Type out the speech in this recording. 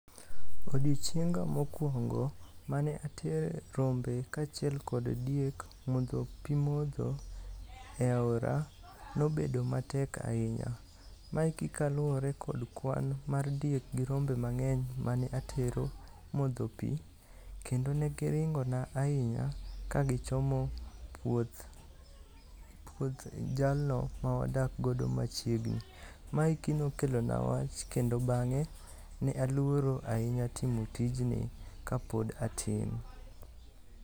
Odiochienga mokwongo mane atere rombe kaachiel kod diek modho pi modho e aora, nobedo matek ahinya. Maeki kaluwore kod kwan mar diek gi rombe mang'eny mane atero modho pi, kendo ne giringona ahinya kagichomo puoth jalno mawadakgodo machiegni. Maeki nokelona wach kendo bang'e ne aluoro ahinya timo tijni kapod atin.